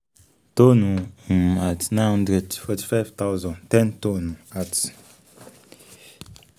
tóónù um nine hundred forty-five thousand ten tonne @